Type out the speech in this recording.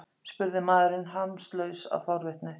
spurði maðurinn hamslaus af forvitni.